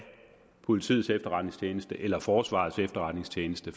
politiets efterretningstjeneste eller forsvarets efterretningstjeneste